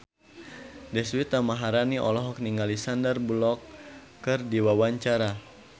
Deswita Maharani olohok ningali Sandar Bullock keur diwawancara